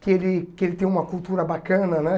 Que ele que ele tenha uma cultura bacana, né?